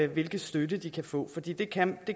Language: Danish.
hvilken støtte de kan få for det det kan